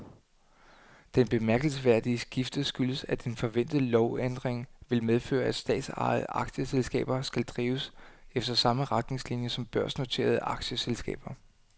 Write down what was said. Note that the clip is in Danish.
Det bemærkelsesværdige skifte skyldes, at en forventet lovændring vil medføre, at statsejede aktieselskaber skal drives efter samme retningslinier som børsnoterede aktieselskaber.